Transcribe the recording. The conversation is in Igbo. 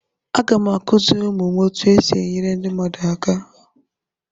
Aga m akụziri ụmụ m otu esi enyere ndị mmadụ aka.